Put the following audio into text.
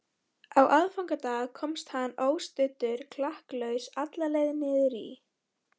Á aðfangadag komst hann óstuddur klakklaust alla leið niður í